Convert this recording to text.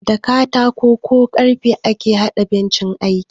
Da katako ko karfe ake haɗa bencin aiki